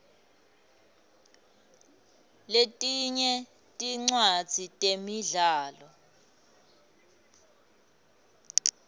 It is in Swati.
letinye tincwadzi temidlalo